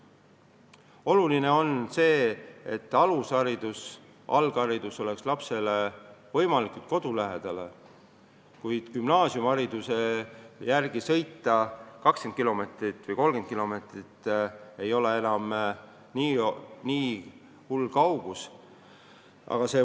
Oluline on see, et alushariduse ja alghariduse saaks laps võimalikult kodu lähedal, kuid sõita gümnaasiumihariduse saamiseks 20 kilomeetrit või 30 kilomeetrit ei ole sugugi hull.